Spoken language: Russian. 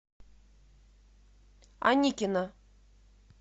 аникина